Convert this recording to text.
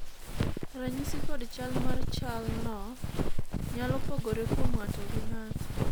ranyisi kod chal mar chal no nyalo pogore kuom ng'ato gi ng'ato